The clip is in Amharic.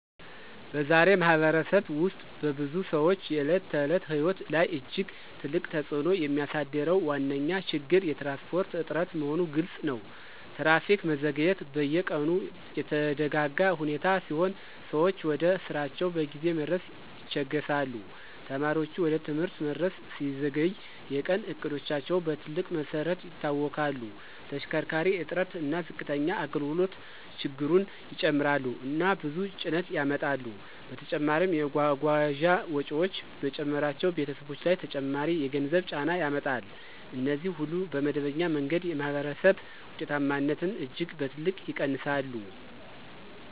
በዛሬ ማኅበረሰብ ውስጥ በብዙ ሰዎች የዕለት ተዕለት ሕይወት ላይ እጅግ ትልቅ ተጽእኖ የሚያሳድረው ዋነኛ ችግር የትራንስፖርት እጥረት መሆኑ ግልፅ ነው። ትራፊክ መዘግየት በየቀኑ የተደጋጋ ሁኔታ ሲሆን ሰዎች ወደ ስራቸው በጊዜ መድረስ ይቸገሣሉ። ተማሪዎች ወደ ትምህርት መድረስ ሲዘገይ የቀን እቅዶቻቸው በትልቅ መሰረት ይታወክላሉ። ተሽከርካሪ እጥረት እና ዝቅተኛ አገልግሎት ችግሩን ይጨምራሉ እና ብዙ ጭነት ያመጣሉ። በተጨማሪም የጓጓዣ ወጪዎች መጨመራቸው ቤተሰቦች ላይ ተጨማሪ የገንዘብ ጫና ያመጣል። እነዚህ ሁሉ በመደበኛ መንገድ የማኅበረሰብ ውጤታማነትን እጅግ በትልቅ ይቀንሳሉ